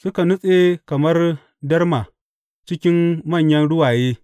Suka nutse kamar darma cikin manyan ruwaye.